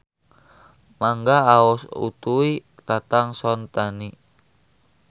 Mangga aos Utuy Tatang Sontani.